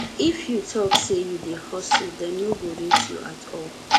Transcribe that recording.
if you tok sey you dey hustle dem no go rate you at all